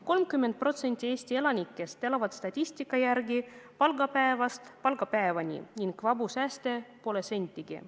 30% Eesti elanikest elab statistika järgi palgapäevast palgapäevani ning vabu sääste pole peaaegu sentigi.